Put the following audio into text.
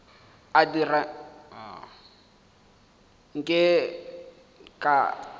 a dira nke ke tša